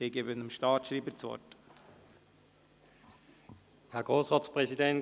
– Ich gebe dem Staatsschreiber das Wort.